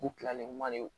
U kilalen man le